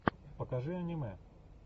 покажи аниме